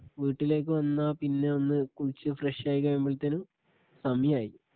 വീട്ടിലേക്കു വന്ന പിന്നെ ഒന്ന് കുളിച്ചു ഫ്രഷ് ആയി കഴിയുമ്പത്തേനും സമയായി